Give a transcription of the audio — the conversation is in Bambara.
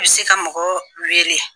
I bɛ se ka mɔgɔ wele